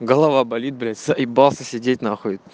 голова болит блять заебался сидеть нахуй